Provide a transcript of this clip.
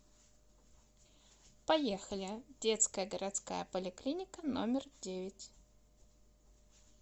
поехали детская городская поликлиника номер девять